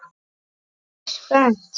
Ertu spennt?